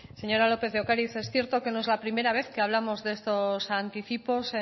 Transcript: señora lópez de ocariz es cierto que no es la primera vez que hablamos de estos anticipos